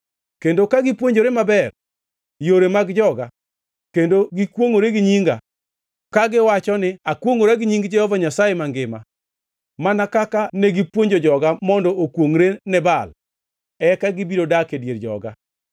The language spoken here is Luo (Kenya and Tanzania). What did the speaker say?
Kendo ka gipuonjore maber yore mag joga kendo gikwongʼore gi nyinga, kagiwacho ni, ‘Akwongʼora gi nying Jehova Nyasaye mangima,’ mana kaka negipuonjo joga mondo okwongʼre ne Baal, eka gibiro dak e dier joga.